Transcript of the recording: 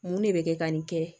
Mun de bɛ kɛ ka nin kɛ